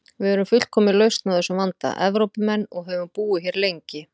Við erum fullkomin lausn á þessum vanda: Evrópumenn, og höfum búið hér lengi.